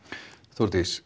Þórdís